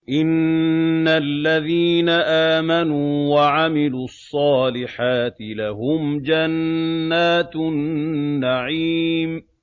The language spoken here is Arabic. إِنَّ الَّذِينَ آمَنُوا وَعَمِلُوا الصَّالِحَاتِ لَهُمْ جَنَّاتُ النَّعِيمِ